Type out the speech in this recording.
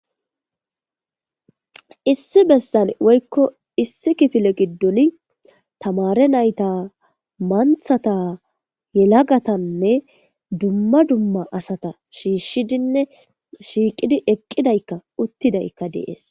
Issi besan woyko issi kifile gidon tamare nayta mantata yelagatane duma duma asata shishidine shiqidi eqidayka utidayka dees.